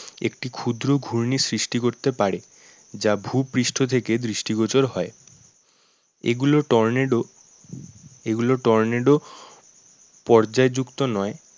একটু ক্ষুদ্র ঘূর্ণির সৃষ্টি করতে পারে। যা ভূপৃষ্ঠ থেকে দৃষ্টিগোচর হয়। এগুলো টর্নেডো এগুলো টর্নেডো পর্যায় যুক্ত নয়।